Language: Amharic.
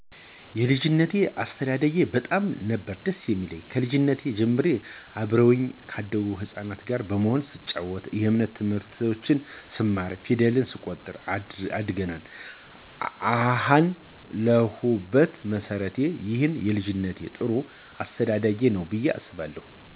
የልጂነት አስተዳደጊ በጣም ነበር ደስ የሚለው ከልጂነት ጀምሬ አብረውኚ ካደጉት ህጻናት ጋር በመሆን ስንጨዋት የእምነት ትምህርቶችን ስንማር ፌደል ስንቆጥር አድገናል አሀን ለሁበት መሠረቴ ይህ የልጂነት ጥሩ አስተዳደጌ ነው ብየ አስባለሁ።